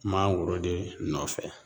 Mangoroden nɔfɛ